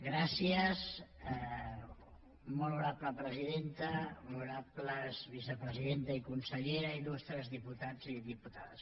gràcies molt honorable presidenta honorables vicepresidenta i consellera il·lustres diputats i diputades gràcies